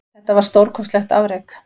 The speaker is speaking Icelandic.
Þetta var stórkostlegt afrek